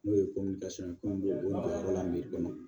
N'o ye ye komi o jɔyɔrɔ la kɔnɔ